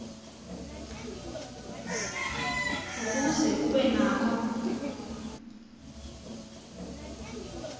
ukuze ube nako